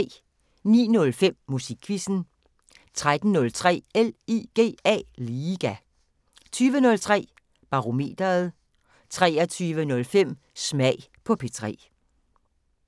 09:05: Musikquizzen 13:03: LIGA 20:03: Barometeret 23:05: Smag på P3